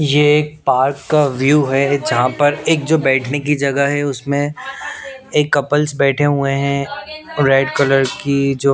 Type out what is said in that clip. ये एक पार्क का व्यू है जहाँ पर एक जो बैठने की जगह है उसमें एक कपल्स बैठे हुए हैं रेड कलर की जो--